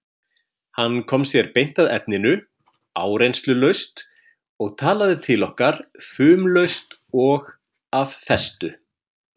Hann kom sér beint að efninu, áreynslulaust og talaði til okkar fumlaust og af festu.